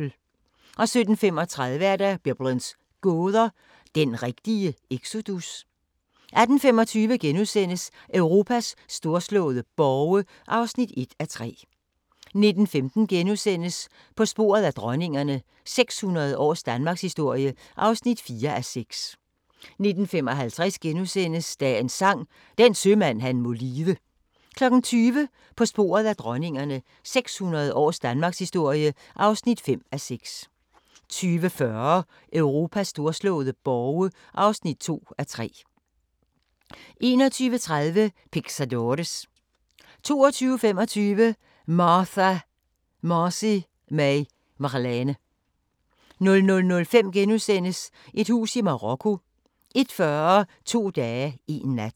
17:35: Biblens gåder – den rigtige exodus? 18:25: Europas storslåede borge (1:3)* 19:15: På sporet af dronningerne – 600 års danmarkshistorie (4:6)* 19:55: Dagens Sang: Den sømand han må lide * 20:00: På sporet af dronningerne – 600 års danmarkshistorie (5:6) 20:40: Europas storslåede borge (2:3) 21:30: Pixadores 22:25: Martha Marcy May Marlene 00:05: Et hus i Marokko * 01:40: To dage, én nat